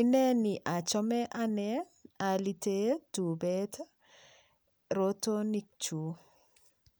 ineni achome ane alite tupet rotonokchu